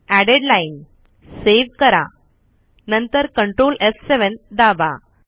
aided line save करा नंतर ctrl एफ7 दाबा